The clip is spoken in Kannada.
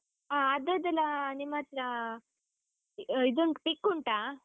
ಹಾ ಅದ್ರದ್ದೆಲ್ಲ ನಿಮ್ಮತ್ರ, ಇದು pic ಉಂಟಾ?